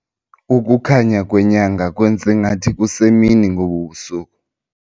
Ukukhanya kwenyanga kwenze ngathi kusemini ngobu busuku.